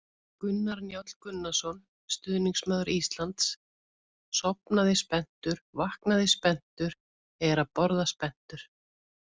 Gunnar Njáll Gunnarsson, stuðningsmaður Íslands: Sofnaði spenntur, vaknaði spenntur, er að borða spenntur!